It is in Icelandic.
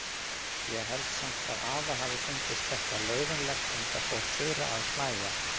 Ég held samt að afa hafi fundist þetta leiðinlegt, enda fór Þura að hlæja.